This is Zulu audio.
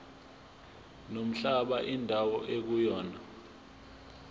nomhlaba indawo ekuyona